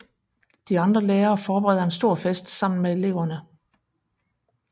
De andre lærere forbereder en stor fest sammen med eleverne